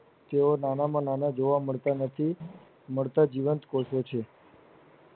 જેઓ નાના માં નાના જોવા મળતાં નથી મળતા જીવત કોષો છે.